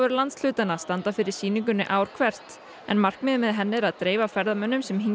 landshlutanna standa fyrir sýningunni ár hvert en markmiðið með henni er að dreifa ferðamönnum sem hingað